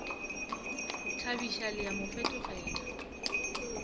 thabiša le a mo fetogela